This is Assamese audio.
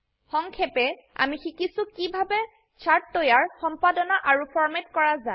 সংক্ষেপে আমি শিকিছো কিভাবেচাৰ্ট তৈয়াৰ সম্পাদনা আৰু ফৰম্যাট কৰা যায়